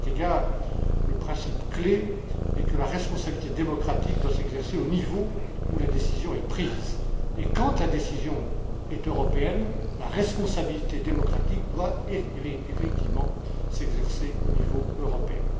À cet égard, le principe clé est que la responsabilité démocratique doit s'exercer au niveau où la décision est prise. Quand la décision est européenne, la responsabilité démocratique doit effectivement s'exercer au niveau européen.